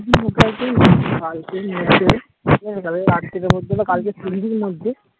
কালকে হম কালকে আজকের জন্য কালকের সন্ধ্যের মধ্যে